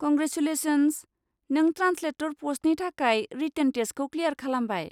Congratulations! नों translator पस्टनि थाखाय रिटेन टेस्टखौ क्लियार खालामबाय।